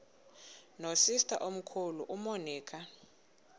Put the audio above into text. nosister omkhulu umonica